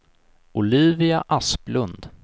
Olivia Asplund